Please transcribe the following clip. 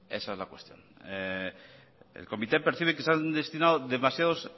esa es la cuestión el comité percibe que se han destinados demasiados